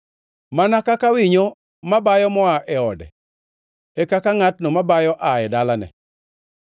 Mana kaka winyo mabayo moa e ode e kaka ngʼatno mabayo aa e dalane.